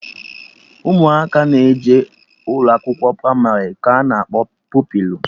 Ụmụaka na-eje ụlọakwụkwọ pramarị ka anọ akpọ Pupilụ